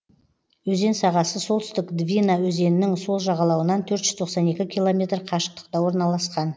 өзен сағасы солтүстік двина өзенінің сол жағалауынан төрт жүз тоқсан екі километр қашықтықта орналасқан